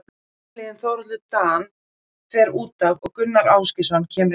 Fyrirliðinn Þórhallur Dan fer útaf og Gunnar Ásgeirsson kemur í hans stað.